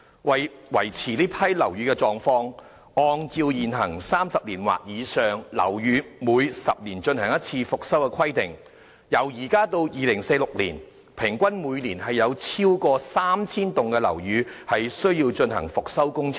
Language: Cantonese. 為維持這批樓宇的狀況，按照現行 "30 年或以上的樓宇每10年進行一次復修"的規定，由現在到2046年，平均每年有超過 3,000 幢樓宇需要進行復修工程。